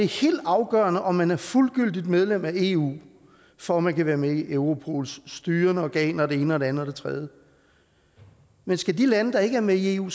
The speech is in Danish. helt afgørende om man er fuldgyldigt medlem af eu for at man kan være med i europols styrende organer og det ene og det andet og det tredje men skal de lande der ikke er med i eu